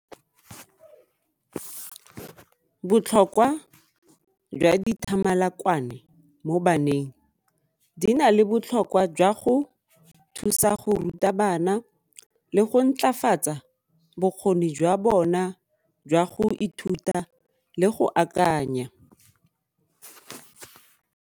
Botlhokwa jwa dithamalakwane mo baneng, di na le botlhokwa jwa go thusa go ruta bana le go ntlafatsa bokgoni jwa bona jwa go ithuta le go akanya.